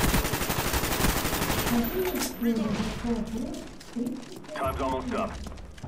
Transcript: покажи мульт теория большого взрыва тридцать восьмой эпизод